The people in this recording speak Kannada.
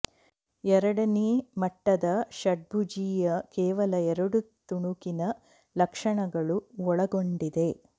ಎರಡನೇ ಮಟ್ಟದ ಷಡ್ಭುಜೀಯ ಕೇವಲ ಎರಡು ತುಣುಕಿನ ಲಕ್ಷಣಗಳು ಒಳಗೊಂಡಿದೆ